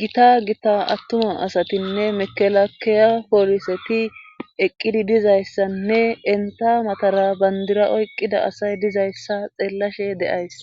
gita gita attuma asatinne mekelakeya poliseti eqqidi dizayssanne enta matara bandira oyqqida asay dizayssa xeellashe de'ays.